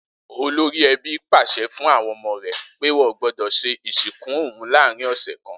Olórí e̩bí pàs̩e̩ fún àwo̩n o̩mo̩ rè̩ pé wó̩n gbó̩dò̩ s̩e ìsìnkú òun láàárin ò̩sè̩ kan